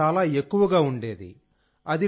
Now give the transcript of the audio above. emission చాలా ఎక్కువగా ఉండేది